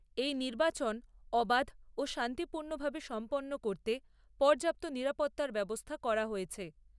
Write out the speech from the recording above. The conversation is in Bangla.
এই নির্বাচন অবাধ ও শান্তিপূর্ণভাবে সম্পন্ন করতে পর্যাপ্ত নিরাপত্তার ব্যবস্থা করা হয়েছে।